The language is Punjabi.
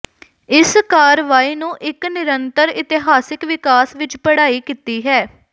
ਇਸ ਕਾਰਵਾਈ ਨੂੰ ਇੱਕ ਨਿਰੰਤਰ ਇਤਿਹਾਸਕ ਵਿਕਾਸ ਵਿੱਚ ਪੜ੍ਹਾਈ ਕੀਤੀ ਹੈ